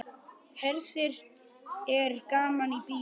Hersir er gaman í bíó?